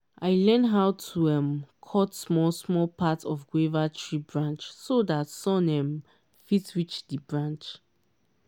i learn how to um cut small small part of guava tree branch so dat sun um fit reach the branch